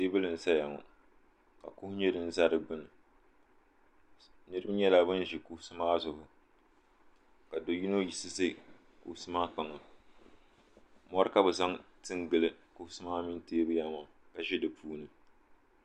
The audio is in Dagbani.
Teebuli nzɛyaŋɔ ka kum nyɛ din ʒɛ tɛɛbuli maa gbuni niriba nyɛla ban zi kuɣusi maa zuɣu ka do yino yiɣisi ze kuɣusi maa kpanŋa mori ka bi zan tingili kuɣusi maa mini tɛɛbuya maa ka zi dipuuni